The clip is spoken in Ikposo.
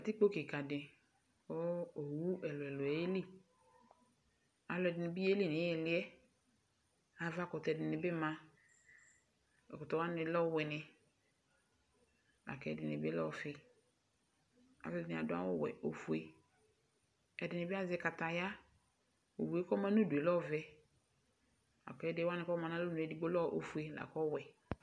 Katikpo kika di kʋ owu ɛlʋ ɛlʋ yeli Alʋ ɛdini bi yeli n'ihili yɛ , avakʋtɛ dini bima Ɛkʋtɛ wani lɛ ɔwini, lak'ɛdini bi lɛ ɔfi Alʋ ɛdini adʋ awʋ wɛ, ofue, k'ɛdini bi azɛ kataya, owu yɛ k'ɔma n'ʋdu yɛ lɛ ɔvɛ, la k'ɛdi wani kɔ ma n'alɔnu yɛ , edigbo lɛ ofue, lak'ɔwɛ